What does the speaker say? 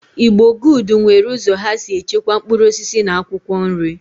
Igbo good nwere uzo ha si echekwa mkpuruosisi na akwokwo nri.